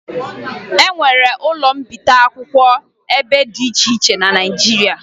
E nwere ụlọ mbipụta akwụkwọ ebe dị iche iche na Naịjirịa